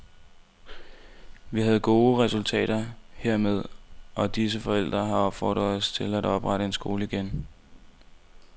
Vi havde gode resultater hermed, og disse forældre har opfordret os til at oprette en skole igen.